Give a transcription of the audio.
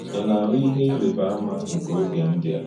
Ị̀ na-ahụ̀ íhè ìrị̀bà àmá nke ògé ndí a?